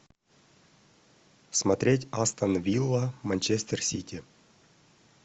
смотреть астон вилла манчестер сити